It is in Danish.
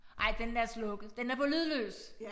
Ej den er slukket den er på lydløs